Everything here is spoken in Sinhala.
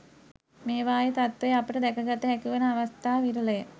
මේවායේ තත්ත්වය අපට දැක ගත හැකි වන අවස්ථා විරල ය.